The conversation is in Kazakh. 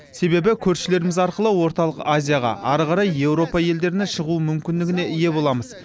себебі көршілеріміз арқылы орталық азияға ары қарай еуропа елдеріне шығу мүмкіндігіне ие боламыз